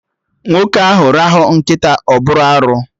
Nwoke ahụ rahụ nkịta, ọ bụ arụ